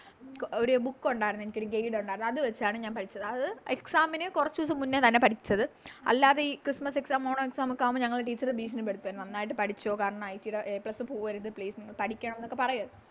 ഒര് Book ഒണ്ടാരുന്നു എനിക്കൊരു Guide അത് വെച്ചാണ് ഞാൻ പഠിച്ചത് അത് Exam ന് കൊറച്ച് ദിവസം മുന്നേ തന്നെ പഠിച്ചത് അല്ലാതെയി Christmas exam ഓണം Exam ഒക്കെ ആവുമ്പൊ ഞങ്ങളെ Teacher ഭീഷണിപ്പെടുത്തുവരുന്നു നന്നായിട്ട് പഠിച്ചോ കാരണം IT ടെ a Plus പോവരുത് Please നിങ്ങള് പഠിക്കണം എന്നൊക്കെ പറയുവാരുന്നു